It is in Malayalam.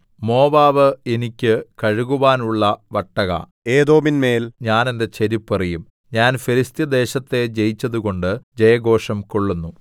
മോവാബ് എനിക്ക് കഴുകുവാനുള്ള വട്ടക ഏദോമിന്മേൽ ഞാൻ എന്റെ ചെരിപ്പ് എറിയും ഞാന്‍ ഫെലിസ്ത്യദേശത്തെ ജയിച്ചതുകൊണ്ട് ജയഘോഷം കൊള്ളുന്നു